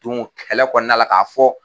Don kɛlɛ kɔnɔ la k'a fɔ.